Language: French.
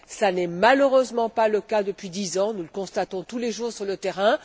Ce n'est malheureusement pas le cas depuis 10 ans, nous le constatons tous les jours sur le terrain.